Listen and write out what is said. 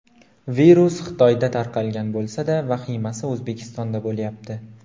Virus Xitoyda tarqalgan bo‘lsa-da, vahimasi O‘zbekistonda bo‘lyapti.